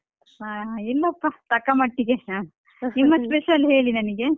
ಇಲ್ಲಪ್ಪ ತಕ್ಕ ಮಟ್ಟಿಗೆ ನಿಮ್ಮ special ಹೇಳಿ ನನಿಗೆ.